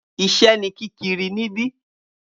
Iṣẹ́ ní kíkiri níbí